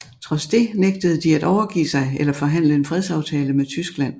Trods det nægtede de at overgive sig eller forhandle en fredsaftale med Tyskland